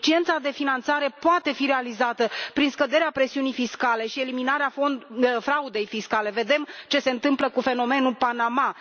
Deficiența de finanțare poate fi compensată prin scăderea presiunii fiscale și eliminarea fraudei fiscale vedem ce se întâmplă cu fenomenul Panama.